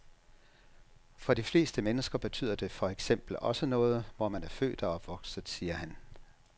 For de fleste mennesker betyder det for eksempel også noget, hvor man er født og opvokset, siger han.